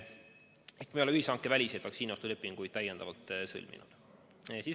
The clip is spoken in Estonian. Me ei ole ühishankeväliseid vaktsiiniostulepinguid sõlminud.